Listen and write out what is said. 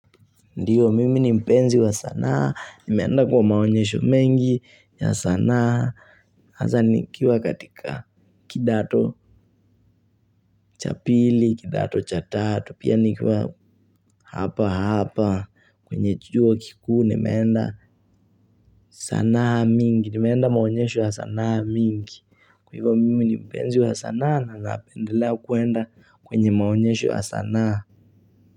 Ndiyo, mimi ni mpenzi wa sanaa, nimeenda kwa maonyesho mengi ya sanaa hasa nikiwa katika kidato cha pili, kidato cha tatu, pia nikiwa hapa hapa, kwenye chuo kikuu, nimeenda sanaa mingi, nimeenda maonyesho wa sanaa mingi. Kwa hivyo mimi ni mpenzi wa sanaa, nawezapendelea kuenda kwenye maonyesho ya sanaa.